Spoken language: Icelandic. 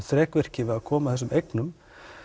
þrekvirki við að koma þessum eignum